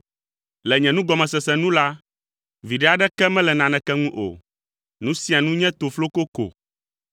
Le nye nugɔmesese nu la, viɖe aɖeke mele naneke ŋu o; nu sia nu nye tofloko ko.